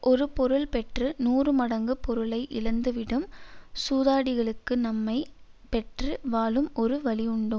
ஒரு பொருள் பெற்று நூறு மடங்கு பொருளை இழந்து விடும் சூதாடிகளுக்கு நம்மை பெற்று வாழும் ஒரு வழி உண்டோ